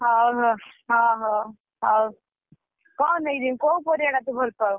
ହଉ ହଉ ହଉ ହଉ ହଉ କଣ ନେଇକି ଜିମି କୋଉ ପରିବା ଟା ତୁ ଭଲ ପାଉଁ?